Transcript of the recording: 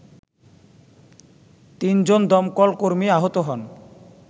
তিনজন দমকলকর্মী আহত হন